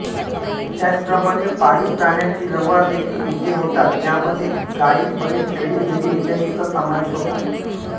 त्याचप्रमाणे पाळीव प्राण्याचे व्यवहार देखील इथे होतात यामध्ये गाई बैल शेळी मेंढी इत्यादीचा सामावेश होतो